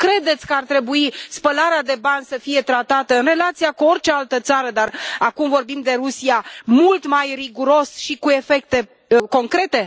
Nu credeți că ar trebui spălarea de bani să fie tratată în relația cu orice altă țară, dar acum vorbind de Rusia, mult mai riguros și cu efecte concrete?